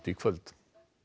í kvöld